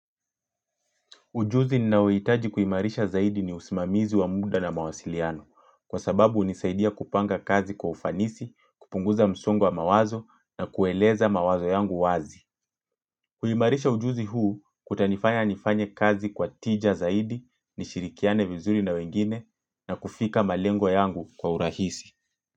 Ujuzi ninaouhitaji kuimarisha zaidi ni usimamizi wa muda na mawasiliano kwa sababu hunisaidia kupanga kazi kwa ufanisi, kupunguza msongo wa mawazo na kueleza mawazo yangu wazi. Kuimarisha ujuzi huu kutanifanya nifanye kazi kwa tija zaidi nishirikiane vizuri na wengine na kufika malengwa yangu kwa urahisi.